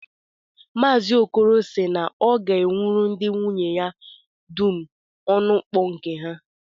Maazi Okoro sị na ọ ga-ewuru ndị nwunye ya dum ọnụmkpu nke ha